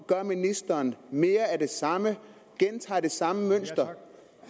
gør ministeren mere af det samme gentager det samme mønster